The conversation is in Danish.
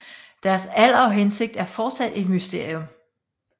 Deres alder og hensigt er fortsat et mysterium